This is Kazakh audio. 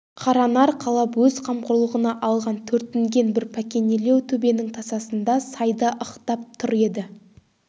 қаранар қалап өз қамқорлығына алған төртінген бір пәкенелеу төбенің тасасында сайда ықтап тұр еді